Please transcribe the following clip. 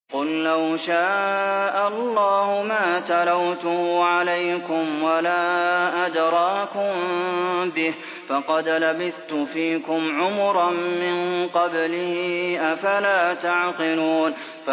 قُل لَّوْ شَاءَ اللَّهُ مَا تَلَوْتُهُ عَلَيْكُمْ وَلَا أَدْرَاكُم بِهِ ۖ فَقَدْ لَبِثْتُ فِيكُمْ عُمُرًا مِّن قَبْلِهِ ۚ أَفَلَا تَعْقِلُونَ